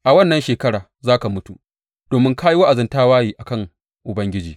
A wannan shekara za ka mutu, domin ka yi wa’azin tawaye a kan Ubangiji.’